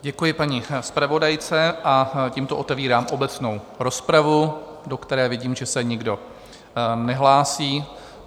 Děkuji paní zpravodajce a tímto otevírám obecnou rozpravu, do které vidím, že se nikdo nehlásí.